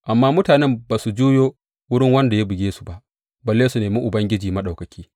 Amma mutanen ba su juyo wurin wanda ya buge su ba, balle su nemi Ubangiji Maɗaukaki.